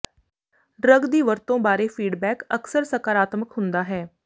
drug ਦੀ ਵਰਤੋਂ ਬਾਰੇ ਫੀਡਬੈਕ ਅਕਸਰ ਸਕਾਰਾਤਮਕ ਹੁੰਦਾ ਹੈ